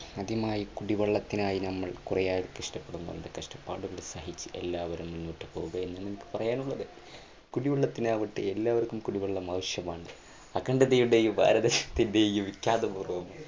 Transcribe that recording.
ആദ്യമായി കുടിവെള്ളത്തിനായി നമ്മൾ കുറേയേറെ കഷ്ടപ്പെടുന്നുണ്ട്. കഷ്ടപ്പാടുകൾ സഹിച്ച് എല്ലാവരും മുന്നോട്ടുപോകുമെന്ന് എനിക്ക് പറയാനുള്ളത്. കുടിവെള്ളത്തിനാവട്ടെ, എല്ലാവർക്കും കുടിവെള്ളം ആവശ്യമാണ്. അഖണ്ഡതയുടെ ഈ ഭാരതത്തിൻറെ ഈ വിഖ്യാതപൂർവ്വം